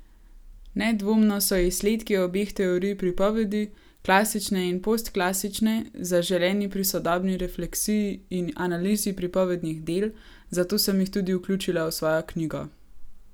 Nedvomno so izsledki obeh teorij pripovedi, klasične in postklasične, zaželeni pri sodobni refleksiji in analizi pripovednih del, zato sem jih tudi vključila v svojo knjigo.